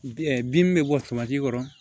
bin min bɛ bɔ kɔrɔ